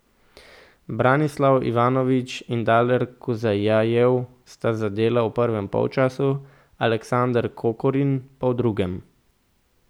Branislav Ivanović in Daler Kuzjajev sta zadela v prvem polčasu, Aleksander Kokorin pa v drugem.